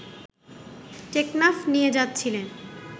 টেকনাফ নিয়ে যাচ্ছিলেন